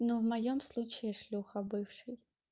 но в моем случае шлюха бывший